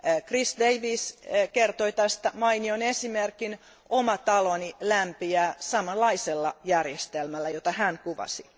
Chris Davies kertoi tästä mainion esimerkin, ja oma taloni lämpiää samanlaisella järjestelmällä, jota hän kuvasi.